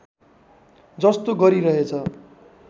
जस्तो गरिरहेछ